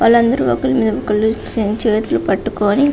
వాళ్ళు అందరు ఒకరి మీద మీద ఒకరు చేతులు పట్టుకొని --